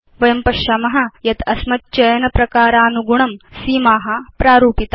वयं पश्याम यत् अस्मच्चयनप्रकारानुगुणं सीमा प्रारूपिता